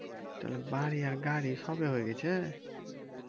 তাহলে বাড়ি আর গাড়ি সবই হয়ে গেছে?